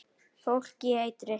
Fólk í eitri